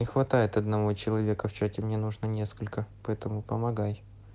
не хватает одного человека в чате мне нужно несколько поэтому помогай